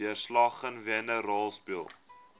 deurslaggewende rol speel